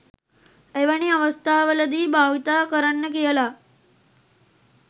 එවැනි අවස්ථාවලදී භාවිතා කරන්න කියලා